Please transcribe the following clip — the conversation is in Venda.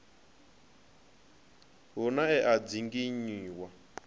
hu na e a dzinginywa